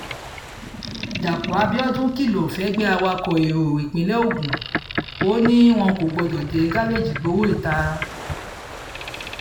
dápò abiodun kìlọ̀ fẹ́gbẹ́ awakọ̀ ẹ̀rọ ìpínlẹ̀ ogun ò ní wọn kò gbọdọ̀ dé gáréèjì gbowó ìta